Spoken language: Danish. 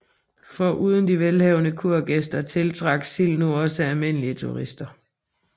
Foruden de velhavende kurgæster tiltrak Sild nu også almindelige turister